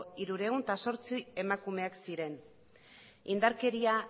hirurehun eta zortzi emakumeak ziren indarkeria